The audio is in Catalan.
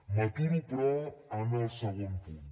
m’aturo però en el segon punt